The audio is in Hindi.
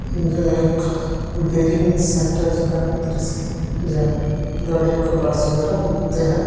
उ जे एक बेरिंग सेंटर का दृश्य है जहां गाड़ियों के पार्ट्स वगैरह मिलते हैं।